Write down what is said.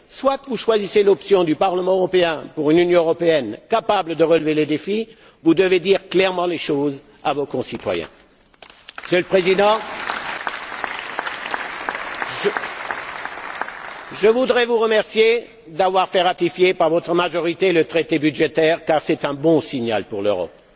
Si vous choisissiez l'option du Parlement européen pour une Union européenne capable de relever le défi, vous devez dire clairement les choses à vos concitoyens. Monsieur le Président, je voudrais vous remercier d'avoir fait ratifier par votre majorité le traité budgétaire, car c'est un bon signal pour l'Europe.